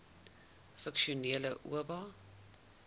funksionele oba